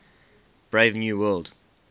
brave new world